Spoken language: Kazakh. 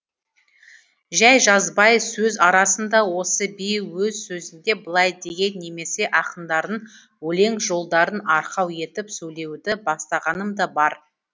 жәй жазбай сөз арасын да осы би өз сөзінде былай деген немесе ақындардың өлең жолдарын арқау етіп сөйлеуді бастағаным да бар